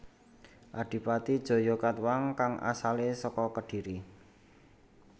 Adipati Jayakatwang kang asalé saka Kediri